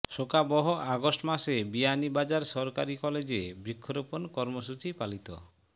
শোকাবহ আগস্ট মাসে বিয়ানীবাজার সরকারি কলেজে বৃক্ষরোপণ কর্মসূচি পালিত